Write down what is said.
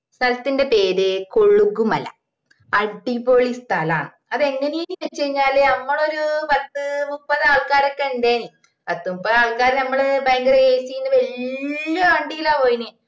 സ്ഥലത്തിന്റെ പേര് കോളുഗുമല അടിപൊളി സ്ഥലാണ് അത് എങ്ങനയേനുന്നുവച്ചാൽ ഞമ്മളോരു പത്തുമുപ്പതു ആൾക്കാരൊക്കെ ഇണ്ടെനും പത്തുമുപ്പതു ആൾക്കാർ ഞമ്മള് ഭയങ്കര AC ള്ള വെല്ല്യ വണ്ടീലാ പോയിന്